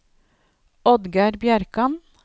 Oddgeir Bjerkan